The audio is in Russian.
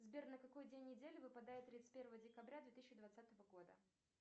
сбер на какой день недели выпадает тридцать первое декабря две тысячи двадцатого года